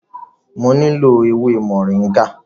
Mo nílò ewé Moringa.